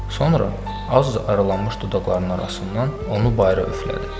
Sonra az aralanmış dodaqlarının arasından onu bayıra üflədi.